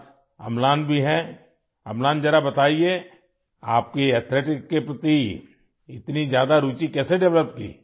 املان، مجھے بتائیں کہ آپ کی ایتھلیٹکس میں اتنی دلچسپی کیسے پیدا ہوئی!